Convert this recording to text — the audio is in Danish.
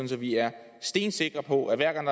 så vi er stensikre på at hver gang